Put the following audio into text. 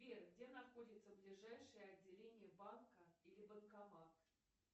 сбер где находится ближайшее отделение банка или банкомат